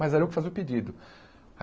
Mas era eu que fazia o pedido.